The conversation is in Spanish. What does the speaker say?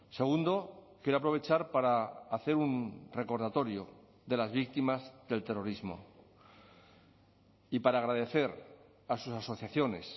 segundo quiero aprovechar para hacer un recordatorio de las víctimas del terrorismo y para agradecer a sus asociaciones